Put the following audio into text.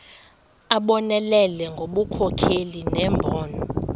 abonelele ngobunkokheli nembono